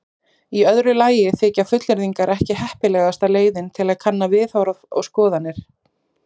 Í öðru lagi þykja fullyrðingar ekki heppilegasta leiðin til að kanna viðhorf og skoðanir.